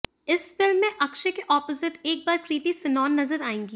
इस फ़िल्म में अक्षय के अपोजिट एक बार कृति सनोन नजर आएंगी